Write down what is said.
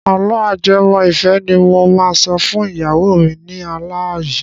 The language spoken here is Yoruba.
Àlọ́ ajẹmọ́-ìfẹ́ ni mo máa sọ fún ìyàwó mi ní alá yìí.